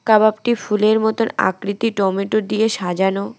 কাবাবটি ফুলের মতন আকৃতি টমেটো দিয়ে সাজানো।